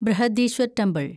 Brihadeeswar temple